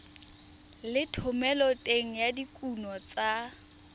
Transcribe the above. le thomeloteng ya dikuno tsa